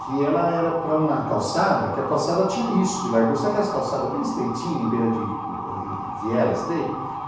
que ela era para uma calçada, que a calçada tinha isso de largura, sabe aquelas calçadas bem estreitinhas, em beira de viela estreita?